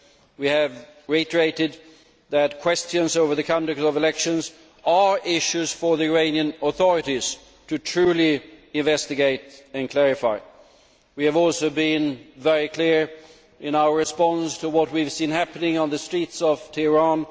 We have reiterated that questions over the conduct of elections are issues for the Iranian authorities to truly investigate and clarify. We have also been very clear in our response to what we have seen happening on the streets of Tehran.